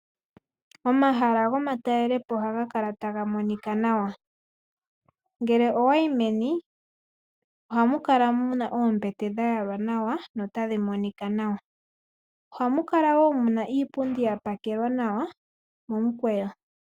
Omahala gomatalelopo ohaga kala taga monika nawa. Ngele owayi meni, ohamu kala muna oombete dhayalwa nawa, notadhi monika nawa. Ohamu kala wo muna iipundi yapakelwa nawa momukweyo.